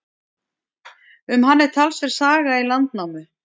Um hann er talsverð saga í Landnámu.